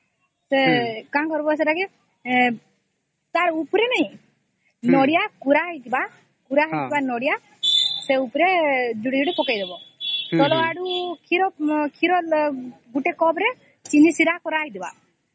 କଣ କରିବା ସେଟା କି ତାର ଉପାରେ ନାଇଁ ନଡ଼ିଆ କୁରା ହେଇଥିବା ସେଇ ଉପରେ ଯୋଡିଏ ଯୋଡିଏ ପକେଉଇଁ ଦବ ନହଲେ କ୍ଷୀର ଗୋଟେ କପ ରେ ଚିନି ସିରା କରା ହେଇଥିବା